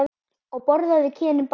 Og borðaðu kynin bæði.